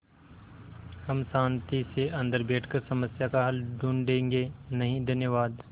हम शान्ति से अन्दर बैठकर समस्या का हल ढूँढ़े गे नहीं धन्यवाद